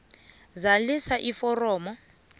zalisa iforomo b